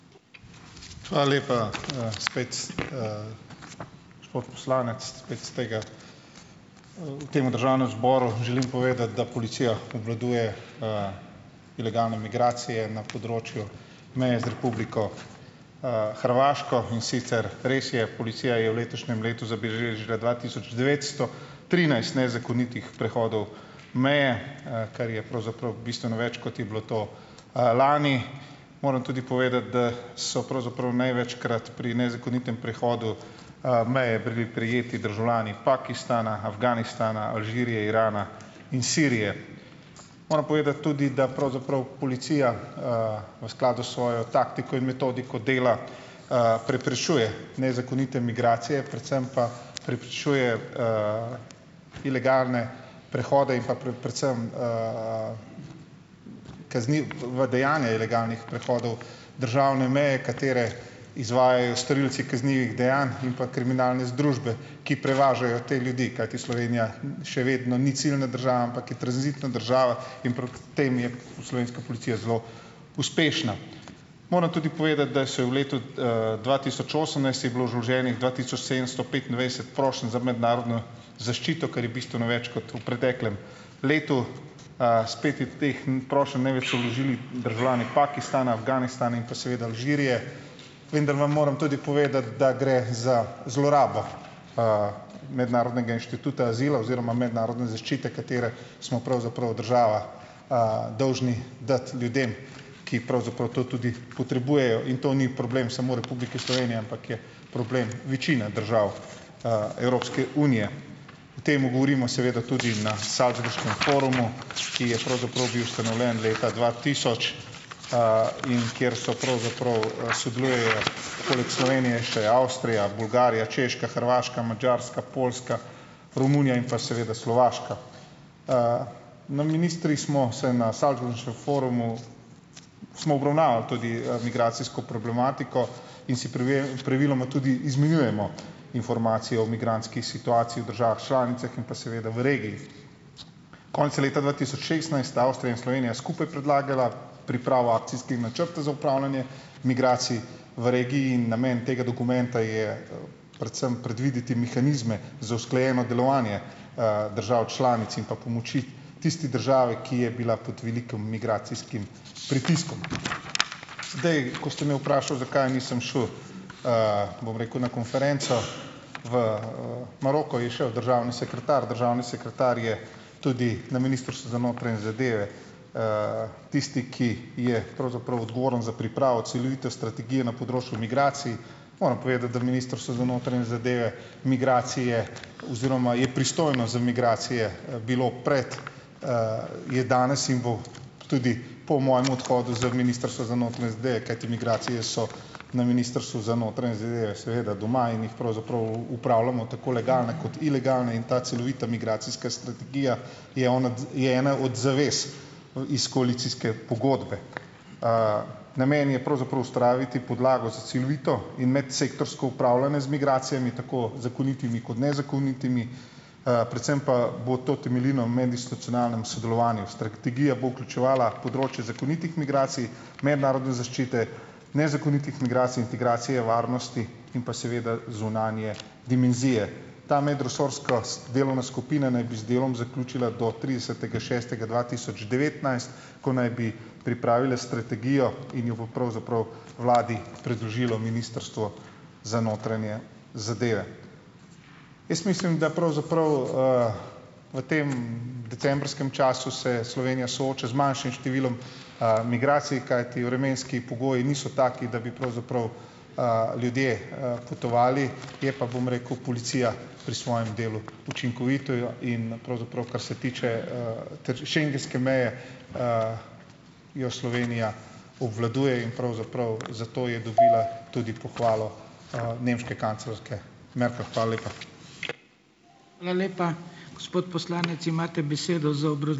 Hvala lepa. Spet. Gospod poslanec, spet s tega, v tem državnem zboru želim povedati, da policija obvladuje ilegalne migracije na področju meje z Republiko, Hrvaško, in sicer res je, policija je v letošnjem letu zabeležila dva tisoč devetsto trinajst nezakonitih prehodov meje, kar je pravzaprav bistveno več, kot je bilo to, lani. Moram tudi povedati, da so pravzaprav največkrat pri nezakonitem prehodu, meje brli prejeti državljani Pakistana, Afganistana, Alžirije, Irana in Sirije. Moram povedati tudi, da pravzaprav policija, v skladu s svojo taktiko in metodiko dela, preprečuje nezakonite migracije, predvsem pa preprečuje ilegalne prehode in pa predvsem kazniva dejanja ilegalnih prehodov državne meje, katere izvajajo storilci kaznivih dejanj in pa kriminalne združbe, ki prevažajo te ljudi, kajti Slovenija še vedno ni ciljna država, ampak je tranzitna država in proti tem je v slovenska policija zelo uspešna. Moram tudi povedati, da se je v letu, dva tisoč osemnajst, je bilo vloženih dva tisoč sedemsto petindvajset prošenj za mednarodno zaščito, kar je bistveno več kot v preteklem letu. Spet je teh prošenj največ vložil državljani Pakistana, Afganistana in pa seveda Alžirije. Vem, da vam moram tudi povedati, da gre za zlorabo, mednarodnega inštituta azila oziroma mednarodne zaščite, katere smo pravzaprav država, dolžni dati ljudem, ki pravzaprav to tudi potrebujejo in to ni problem samo Republike Slovenije, ampak je problem večine držav, Evropske unije. O tem govorimo tudi na salzburškem forumu, ki je pravzaprav bil ustanovljen leta dva tisoč, in kjer so pravzaprav, sodelujejo poleg Slovenije še Avstrija, Bolgarija, Češka, Hrvaška, Madžarska, Poljska, Romunija in pa seveda Slovaška. Na ministri smo se na salzburškem forumu smo obravnavali tudi, migracijsko problematiko in si praviloma tudi izmenjujemo informacije o migrantskih situacijah v državah članicah in pa seveda v regiji. Konec leta dva tisoč šestnajst sta Avstrija in Slovenija skupaj predlagala pripravo akcijskih načrtov za upravljanje migracij v regiji in namen tega dokumenta je, predvsem predvideti mehanizme za usklajeno delovanje, držav članic in pa pomoči tisti državi, ki je bila pod velikim migracijskim pritiskom. Zdaj, ko ste me vprašali, zakaj nisem šel, bom rekel, na konferenco v, Maroko, je šel državni sekretar. Državni sekretar je tudi na Ministrstvu za notranje zadeve tisti, ki je pravzaprav odgovoren za pripravo celovite strategije na področju migracij. Moram povedati, da Ministrstvo za notranje zadeve migracije oziroma je pristojno za migracije, bilo prej, je danes in bo tudi po mojem odhodu z Ministrstva za notranje zadeve, kajti migracije so na Ministrstvu za notranje zadeve seveda doma in jih pravzaprav upravljamo, tako legalne kot ilegalne. In ta celovita migracijska strategija je ona je ena od zavez o iz koalicijske pogodbe. Namen je pravzaprav ustvariti podlago s celovito in medsektorsko upravljanje z migracijami, tako zakonitimi kot nezakonitimi, predvsem pa bo to temeljilo medinstitucionalnem sodelovanju. Strategija bo vključevala področje zakonitih migracij, mednarodne zaščite, nezakonitih migracij, integracije, varnosti in pa seveda zunanje dimenzije. Ta medresorska delovna skupina naj bi z delom zaključila do tridesetega šestega dva tisoč devetnajst, ko naj bi pripravila strategijo in jo bo pravzaprav vladi predložilo Ministrstvo za notranje zadeve. Jaz mislim, da pravzaprav, v tem decembrskem času se Slovenija sooča z manjšim številom, migracij, kajti vremenski pogoji niso taki, da bi pravzaprav, ljudje, potovali. Je pa, bom rekel, policija pri svojem delu učinkovita. In pravzaprav kar se tiče, schengenske meje, jo Slovenija obvladuje in pravzaprav zato je dobila tudi pohvalo, nemške kanclerke Merkel. Hvala lepa.